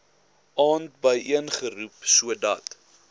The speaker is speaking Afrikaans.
aand byeengeroep sodat